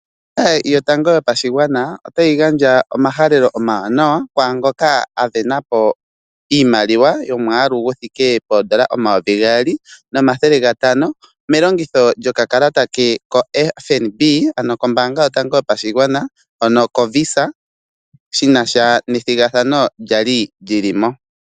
Ombaanga yotango yopashigwana otayi gandja omahalelo omawaanawa, kwaangoka a sindana po iimaliwa yomwaalu guthike poondola omayovi gaali nomathele gatano melongitho lyokakalata ke koFNB, ano kombaanga yotango yopashigwana hono koVisa, shinasha nethigathano lyali lyili mo.